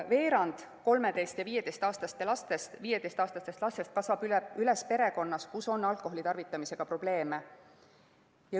Veerand 13‑ ja 15‑aastastest lastest kasvab üles perekonnas, kus on alkoholitarvitamisega probleeme.